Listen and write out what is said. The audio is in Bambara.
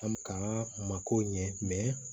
An bɛ k'an mako ɲɛ